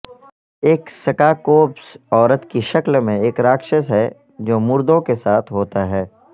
ایک سکاکوبس عورت کی شکل میں ایک راکشس ہے جو مردوں کے ساتھ ہوتا ہے